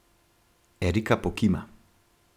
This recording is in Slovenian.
Erika pokima.